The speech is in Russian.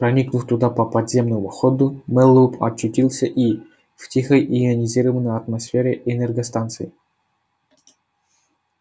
проникнув туда по подземному ходу мэллоу очутился и в тихой ионизированной атмосфере энергостанции